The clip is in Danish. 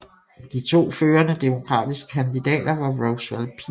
De to førende demokratiske kandidater var Roswell P